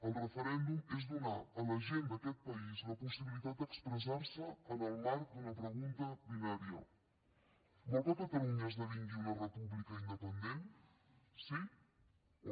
el referèndum és donar a la gent d’aquest país la possibilitat d’expressar se en el marc d’una pregunta binària vol que catalunya esdevingui una república independent sí o no